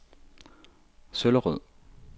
Søllerød